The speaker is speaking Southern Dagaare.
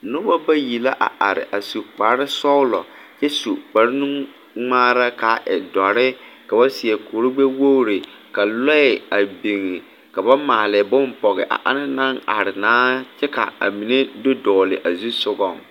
Noba bayi la a are a su kparesɔglɔ kyɛ su kparenuŋmaara ka a e dɔre ka ba seɛ kurigbɛwogri ka lɔɛ a biŋ ka ba maale bonne pɔge a anaŋ naŋ are na kyɛ ka a mine do dɔgle a zu sogaŋ.